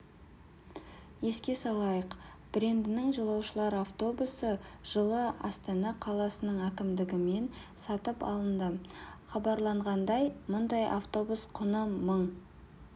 еске салайық брендінің жолаушылар автобусы жылы астана қаласының әкімдігімен сатып алынды хабарланғандай мұндай автобус құны мың